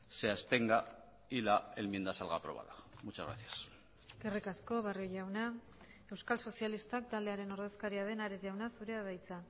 se abstenga y la enmienda salga aprobada muchas gracias eskerrik asko barrio jauna euskal sozialistak taldearen ordezkaria den ares jauna zurea da hitza